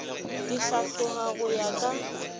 di hlatloga go ya ka